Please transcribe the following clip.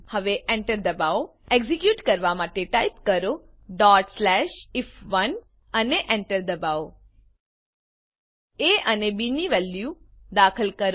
હવે Enter દબાવો execute કરવા માટે ટાઈપ કરો if1 અને Enter દબાવો એ અને બી ની વેલ્યુ દાખલ કરો